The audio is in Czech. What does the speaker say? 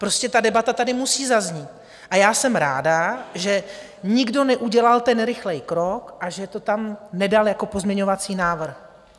Prostě ta debata tady musí zaznít a já jsem ráda, že nikdo neudělal ten rychlý krok a že to tam nedal jako pozměňovací návrh.